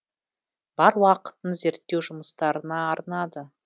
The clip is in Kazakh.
бар уақытын зерттеу жұмыстарына арнады